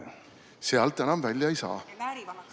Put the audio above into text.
Sealt enam välja ei saa.